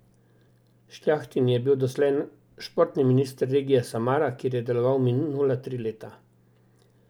Šljahtin je bil doslej športni minister regije Samara, kjer je deloval minula tri leta.